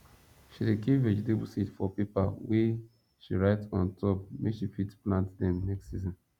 she dey keep vegetable seed for paper wey she write on top make she fit plant dem next season